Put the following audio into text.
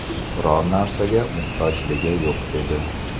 Biror narsaga muhtojligi yo‘q edi.